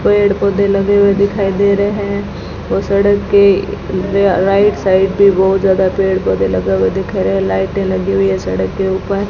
पेड़ पौधे लगे हुए दिखाई दे रहे हैं और सड़क के र राइट साइड पे बहुत ज्यादा पेड़ पौधे लगे हुए दिख रहे है लाइटें लगी हुई है सड़क के ऊपर --